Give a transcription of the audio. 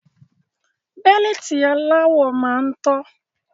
Bẹ́líìtì aláwọ máa ń tọ́